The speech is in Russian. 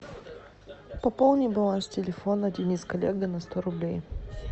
пополни баланс телефона денис коллега на сто рублей